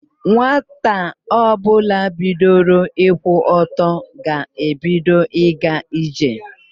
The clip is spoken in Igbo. Nwata ọbụla bidoro ịkwụ ọtọ ga-ebido ịga ije.